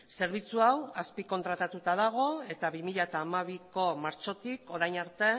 zerbitzu hau azpikontratatuta dago eta bi mila hamabiko martxotik orain arte